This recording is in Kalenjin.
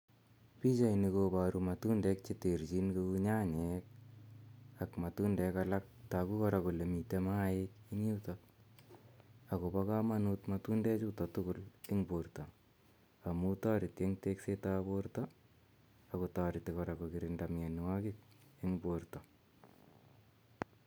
Pichaini koparu matundek che terchin kou nyanyek ak matundek alak. Tagu kora kole mitei maaik en yutok akopa kamanut matundechutok en porto am tareti eng' teksetap porto ak kotareti kora kokirinda mianwagik eng' poto.